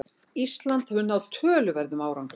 Ísland hefur náð töluverðum árangri